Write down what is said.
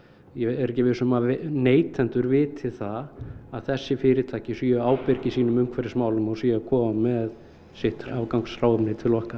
ég er ekki viss um að neytendur viti það að þessi fyrirtæki eru ábyrg í sínum umhverfismálum og séu að koma með sitt afgangs hráefni til okkar